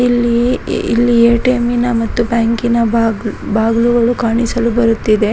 ಇಲ್ಲಿ ಇ ಇಲ್ಲಿ ಎ.ಟಿ.ಎಂ ಮತ್ತು ಬ್ಯಾಂಕಿನ ಬಾಗ್ಲ್ ಬಾಗ್ಲುಗಳು ಕಾಣಿಸಲು ಬರುತ್ತಿದೆ.